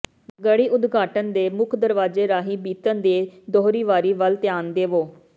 ਗੜ੍ਹੀ ਉਦਘਾਟਨ ਦੇ ਮੁੱਖ ਦਰਵਾਜ਼ੇ ਰਾਹੀਂ ਬੀਤਣ ਦੇ ਦੋਹਰੀ ਵਾਰੀ ਵੱਲ ਧਿਆਨ ਦੇਵੋ